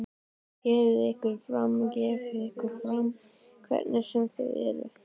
Gefið ykkur fram, gefið ykkur fram, hverjir sem þið eruð.